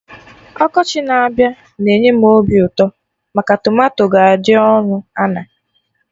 Ọkọchị na-abịa na-enye m obi ụtọ maka tomato ga-adị ọnụ ana